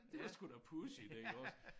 Det var sgu da pudsigt iggås